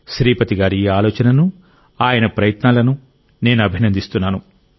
శ్రీపతి గారి ఈ ఆలోచనను ఆయన ప్రయత్నాలను నేను అభినందిస్తున్నాను